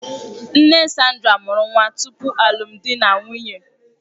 Nne Sandra mụrụ nwa tupu alụmdi na nwunye.